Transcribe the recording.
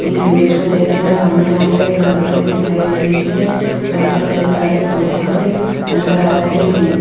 इस इमेज में देखिएगा सामने यहां पर एक नर्सरी दिखाई दे रही है जहां पर कई सारे पौधे आते नजर आ रहे हैं।